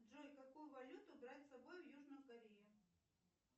джой какую валюту брать с собой в южную корею